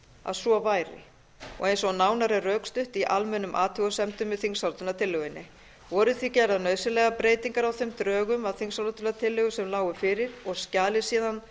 að svo væri og eins og nánar er rökstutt í almennum athugasemdum með þingsályktunartillögunni voru því gerðar nauðsynlegar breytingar að þeim drögum þingsályktunartillögu sem lágu fyrir og skjalið síðan